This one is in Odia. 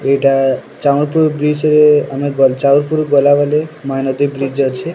ଏଇଟା ଚାହଁପୁର ବ୍ରିଜରେ ଆମେ ଚାହଁପୁର ଗଲାବେଲେ ମହାନଦୀ ଅଛେ ।